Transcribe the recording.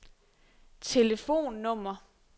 telefonnummer